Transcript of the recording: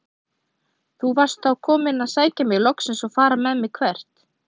Þú varst þá kominn að sækja mig loksins og fara með mig- hvert?